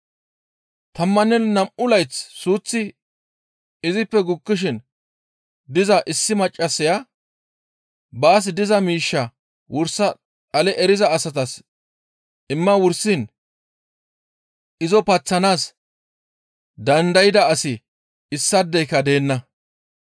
Tammanne nam7u layth suuththi izippe gukkishin diza issi maccassaya baas diza miishshaa wursa dhale eriza asatas imma wursiin izo paththanaas dandayda asi issaadeyka deenna.